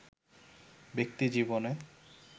ব্যক্তি জীবনে